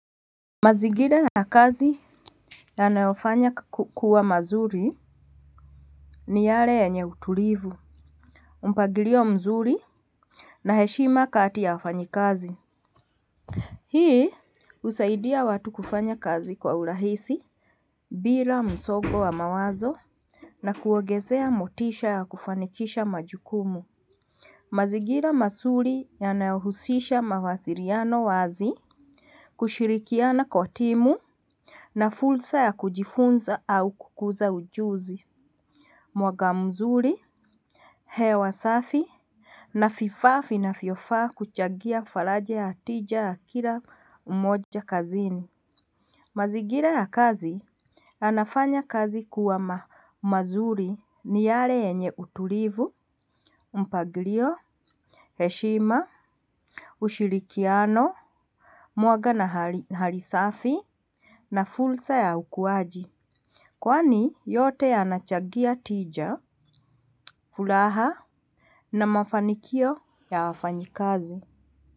Mazingira ya kazi yanayofanya kuwa mazuri ni yale yenye utulivu. Mpangilio mzuri na heshima kati ya wafanyikazi. Hii husaidia watu kufanya kazi kwa urahisi bila msongo wa mawazo. Na kuongezea motisha ya kufanikisha majukumu. Mazingira mazuri yanayohusisha mawasiliano wazi. Kushirikiana kwa timu na fursa ya kujifunza au kukuza ujuzi. Mwaka mzuri, hewa safi na vifaa vinavyofaa kuchangia faraja ya tija ya kila mmoja kazini. Mazingira ya kazi yanafanya kazi kuwa mazuri ni yale yenye utulivu. Mpanglio Heshima Ushirikiano Mwanga na hali safi na fursa ya ukuwaji kwani yote yanachangia tija, furaha na mafanikio ya wafanyikazi.